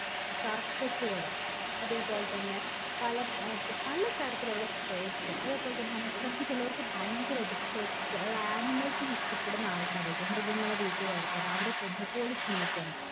circus ഉകൾ അതെ പോലെ തന്നെ പല ഏർ തരത്തിലുള്ള sports അതെ പോലെ തന്നെ നമ്മ നമ്മക്ക് ചെലോർക്ക് ഭയങ്കരായിട്ട് pets അഹ് animals നെ ഇഷ്ട്ടപെടുന്ന ആൾക്കാരൊക്കെ മൃഗങ്ങളെ വീട്ടില് വളർത്താൻ അവരെ പൊന്നു പോലെ സ്നേഹിക്കാന്